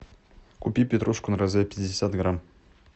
купи петрушку на развес пятьдесят грамм